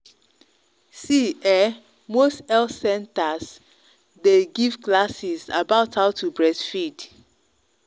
see um most health centers day give classes about how to breastfeed